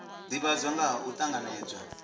divhadzwa nga ha u tanganedzwa